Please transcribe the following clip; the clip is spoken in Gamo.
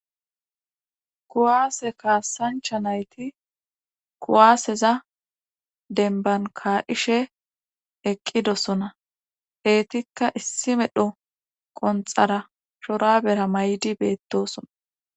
Kuwaase kaasancha nayti kuwaaseza denbankaa7ishe eqqidosona eetikka issi medho qonxara shora bera may7di beettosona.